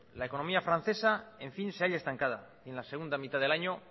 la economía francesa en fin se halla estancada en la segunda mitad del año